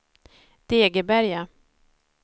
Degeberga